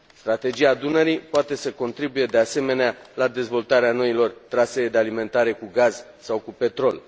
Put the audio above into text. Strategia Dunării poate să contribuie, de asemenea, la dezvoltarea noilor trasee de alimentare cu gaz sau cu petrol.